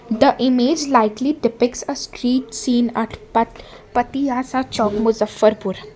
the image likely depicts a street scene at pat patiyasa chowk Muzaffarpur.